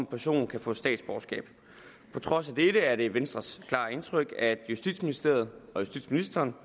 person kan få statsborgerskab på trods af dette er det venstres klare indtryk at justitsministeriet og justitsministeren